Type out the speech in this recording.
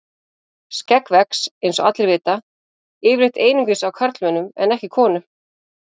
Skegg vex, eins og allir vita, yfirleitt einungis á karlmönnum en ekki konum.